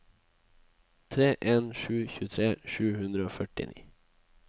tre en en sju tjuetre sju hundre og førtini